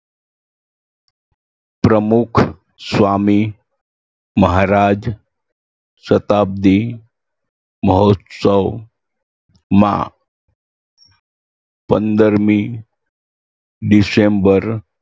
પ્રમુખ સ્વામી મહારાજ શતાબ્દી મહોત્સવમાં પંદરમી ડિસેમ્બર